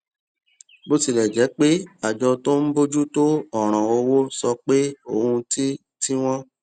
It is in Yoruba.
bó tilè jé pé àjọ tó ń bójú tó òràn owó sọ pé ohun tí tí wón